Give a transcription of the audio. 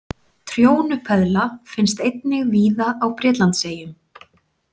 Trjónupeðla finnst einnig víða á Bretlandseyjum.